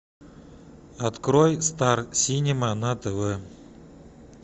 открой стар синема на тв